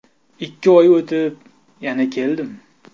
Ikki oy o‘tib, yana keldim.